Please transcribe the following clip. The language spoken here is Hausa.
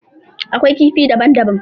Akwai kifi daban daban.